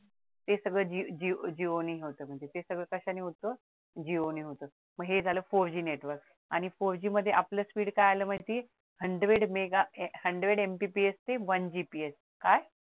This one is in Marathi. हे सगळ जिओ ने होतं म्हणजे ते कशाने होतं जिओ ने होतं मग हे झालं four G नेटवर्क आणि four G मध्ये आपल speed काय आलं पाहिजे hundred meghahundred MPPS ते one GPS काय